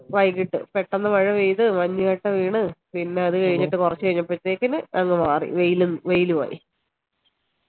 വൈകിട്ട് പെട്ടെന്ന് മഴ പെയ്ത് മഞ്ഞ് കട്ട വീണ് പിന്നെ അത് കഴിഞ്ഞിട്ട് കുറച്ച് കഴിഞ്ഞപ്പോഴേക്കും അങ്ങ് മാറി വെയിലും ആയി ആയി